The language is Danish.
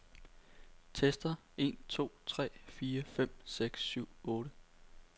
Tester en to tre fire fem seks syv otte.